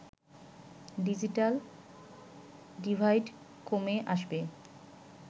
digital divide কমে আসবে